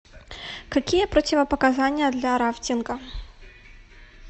какие противопоказания для рафтинга